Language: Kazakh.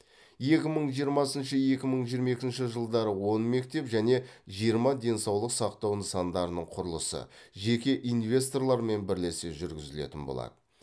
екі мың жиырмасыншы екі мың жиырма екінші жылдары он мектеп және жиырма денсаулық сақтау нысандарының құрылысы жеке инвесторлармен бірлесе жүргізілетін болады